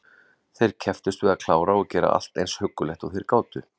Þeir kepptust við að klára og gera allt eins huggulegt og þeir gátu.